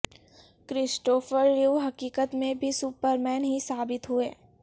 Christopher Reeve حقیقت میں بھی سپرمین ہی ثابت ہوئے